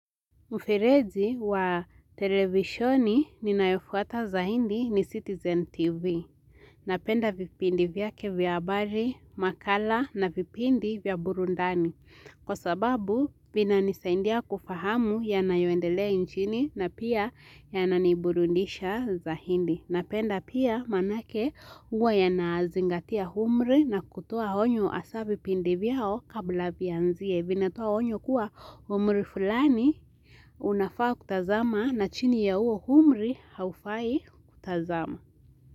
Mfirezi wa televishoni ninayofuata zaidi ni Citizen TV. Napenda vipindi vyake vya habari, makala na vipindi vya burudani. Kwa sababu, vinani saidia kufahamu yanayoendelea nchini na pia ya naniburudisha zaidi. Napenda pia maanake huwa yanazingatia umri na kutoa onyo hasa vipindi vyao kabla vianzie. Vinatoa onyo kuwa umri fulani unafaa kutazama na chini ya huo umri haufai kutazama.